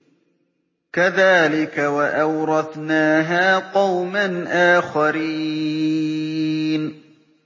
كَذَٰلِكَ ۖ وَأَوْرَثْنَاهَا قَوْمًا آخَرِينَ